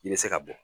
I bɛ se ka bɔ